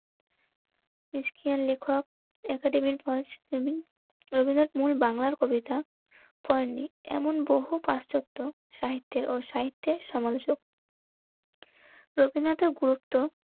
লেখক একাডেমির ফলস একাডেমি. রবীন্দ্রনাথ মূল বাংলার কবিতা এমন বহু পাশ্চাত্য সাহিত্যের ও সাহিত্যের সমান যোগ্য. রবীন্দ্রনাথের গুরুত্ব